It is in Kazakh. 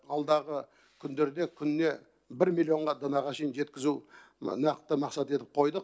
алдағы күндерде күніне бір миллионға данаға шейін жеткізу нақты мақсат етіп қойдық